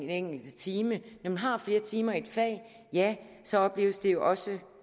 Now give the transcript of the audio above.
enkelte time når man har flere timer i et fag ja så opleves det jo også